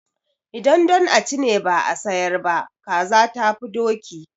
Idan don a ci ne ba a sayar ba, kaza tafi doki.